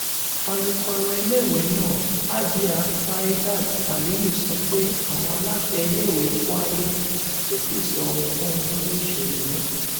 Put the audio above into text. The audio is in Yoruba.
alūkọrọ iléèwé náà hajia saeedat aliyu sọ pé àwọn aláṣẹ iléèwé kwayi kò tí ì sọ ohunkóhun lórí ìṣẹlẹ náà